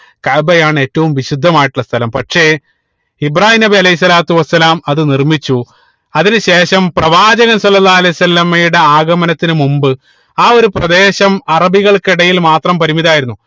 കഅബയാണ് ഏറ്റവും വിശുദ്ധമായിട്ടുള്ള സ്ഥലം പക്ഷെ ഇബ്രാഹീം നബി അലൈഹി സ്വലാത്തു വസ്സലാം അത് നിർമിച്ചു അതിനു ശേഷം പ്രവാചക സ്വല്ലള്ളാഹു അലൈഹി വസല്ലമയുടെ ആഗമനത്തിന് മുമ്പ് ആ ഒരു പ്രദേശം അറബികൾക്കിടയിൽ മാത്രം പരിമിതമായിരുന്നു